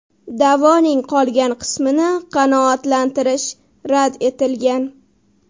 Da’voning qolgan qismini qanoatlantirish rad etilgan.